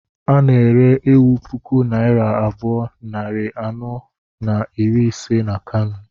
A na-ere ewu puku naira abụọ, nari anọ na iri ise na Kano